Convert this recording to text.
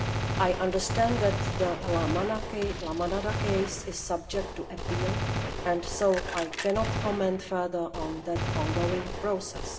I understand that the La Manada case is subject to appeal, so I cannot comment further on that ongoing process.